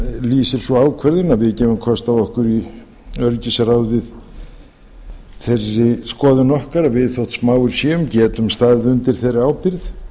lýsir sú ákvörðun að við gefum kost á okkur í öryggisráðið þeirri skoðun okkar að við þótt smáir séum getum staðið undir þeirri ábyrgð